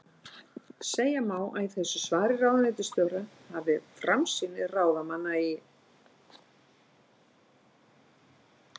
Segja má að í þessu svari ráðuneytisstjóra hafi framsýni ráðamanna í